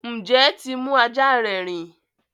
Njẹ tí mú ajá rẹ rìn?